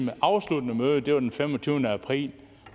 afsluttende møde var den femogtyvende april